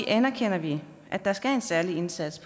anerkender vi at der skal en særlig indsats